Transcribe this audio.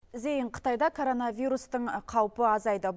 зейін қытайда коронавирустың қаупі азайды